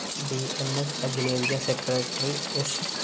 B M S അഖിലേന്ത്യാ secretary സ്‌